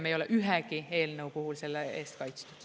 Me ei ole ühegi eelnõu puhul selle eest kaitstud.